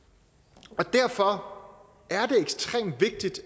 derfor